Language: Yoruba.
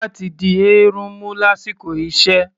Kílám̀pù ṣe kókó láti dí èérún mú lásìkò iṣẹ́